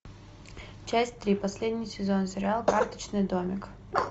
часть три последний сезон сериал карточный домик